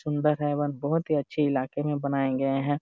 सुंदर है एवं बहुत ही अच्छे इलाके मे बनाएं गए है।